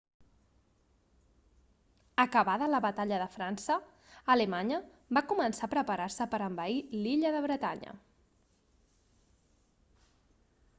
acabada la batalla de frança alemanya va començar a preparar-se per a envair l'illa de bretanya